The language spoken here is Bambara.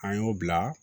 An y'o bila